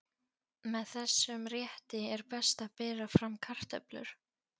Með þessum rétti er best að bera fram kartöflur.